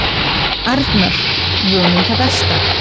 Arnar: Vonum það besta.